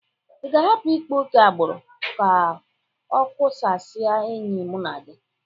Ị ga-ahapụ ịkpa oke agbụrụ ka ọ kụkasịa enyi mụ na gi?